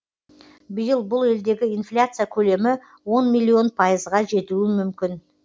биыл бұл елдегі инфляция көлемі он миллион пайызға жетуі мүмкін